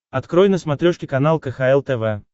открой на смотрешке канал кхл тв